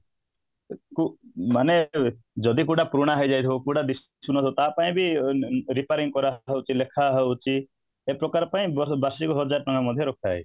କି କୁ ମାନେ ଯଦି କୋଉଟା ପୁରୁଣା ହେଇଯାଇଥିବ କୋଉଟା ତାପାଇଁ ବି repairing କାରଵାହଉଛି ଲେଖାହଉଛି ଏପ୍ରକାର ପାଇଁ ବର୍ଷ ବାର୍ଷିକ ହଜାର ଟଙ୍କା ମଧ୍ୟ ରଖାଯାଇଛି